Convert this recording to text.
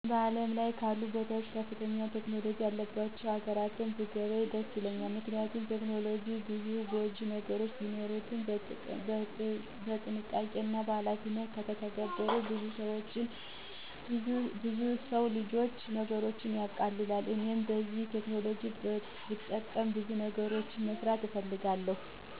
በዓለም ላይ ካሉ ቦታዎች ከፍተኛ ቴክኖሎጂ ያሉባቸው ሀገራትን ብጐበኝ ደስ ይለኛል። ምክንያቱም ቴክኖሎጂ ብዙ ጐጂ ነገሮች ቢኖሩትም በጥንቃቄና በኃላፊነት ከተተገበሩ ብዙ የሰው ልጅ ችግሮችን ያቀላሉ። እኔም እነዚህን ቴክኖሎጂዎች በመጠቀም ብዙ ነገሮችን መስራት እፈልጋለሁ።